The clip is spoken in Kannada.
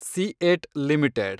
CEAT limited